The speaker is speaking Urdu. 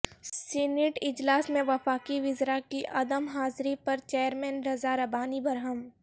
سینیٹ اجلاس میں وفاقی وزراء کی عدم حاضری پر چیئرمین رضا ربانی برہم